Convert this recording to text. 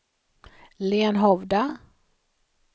Lenhovda